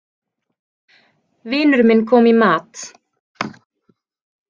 Vinur minn kom í mat.